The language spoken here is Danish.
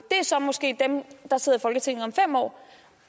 er så måske dem der sidder i folketinget om fem år